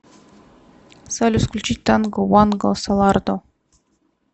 салют включить танго ванго солардо